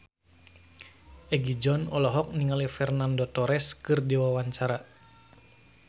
Egi John olohok ningali Fernando Torres keur diwawancara